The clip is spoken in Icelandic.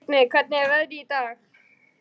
Vignir, hvernig er veðrið í dag?